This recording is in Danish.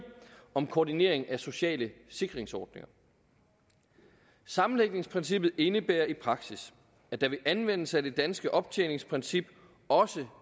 om koordinering af sociale sikringsordninger sammenlægningsprincippet indebærer i praksis at der ved anvendelse af det danske optjeningsprincip også